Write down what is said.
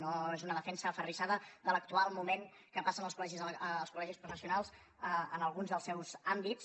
no és una defensa aferrissada de l’actual moment que passen els col·legis professionals en alguns dels seus àmbits